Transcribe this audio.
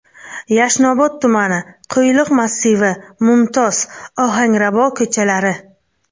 Yashnobod tumani: Qo‘yliq massivi, Mumtoz, Ohangrabo ko‘chalari.